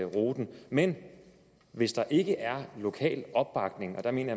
ruten men hvis der ikke er lokal opbakning og der mener